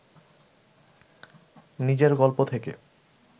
নিজের গল্প থেকে